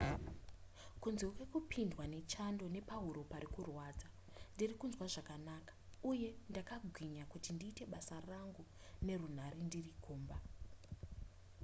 kunze kwekupindwa nechando nepahuro parikurwadza ndirikunzwa zvakanaka uye ndakagwinya kuti ndiite basa rangu nerunhare ndiri kumba